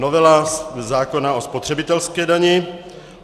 Novela zákona o spotřebitelské dani.